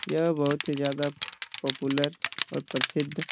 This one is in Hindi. यह बहुत ही ज्यादा पॉपुलर और प्रसिद्ध --